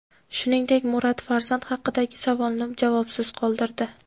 Shuningdek, Murat farzand haqidagi savolni javobsiz qoldirdi.